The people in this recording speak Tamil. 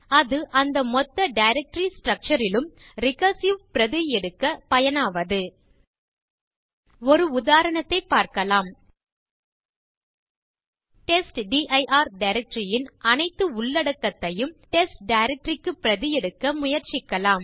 இது அந்த மொத்த டைரக்டரி ஸ்ட்ரக்சர் லும் ரிகர்சிவ் பிரதி எடுக்க பயனாவது ஒரு உதாரணத்தைப் பார்க்கலாம் டெஸ்ட்டிர் டைரக்டரி யின் அனைத்து உள்ளடக்கத்தையும் டெஸ்ட் டைரக்டரி க்கு பிரதி எடுக்க முயற்சிக்கலாம்